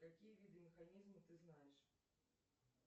какие виды механизма ты знаешь